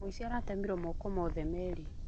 Mũici aratemirwo moko mothe merĩ.